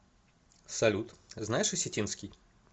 салют знаешь осетинский